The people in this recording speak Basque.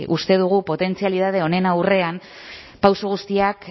uste dugu potentzialitate honen aurrean pauso guztiak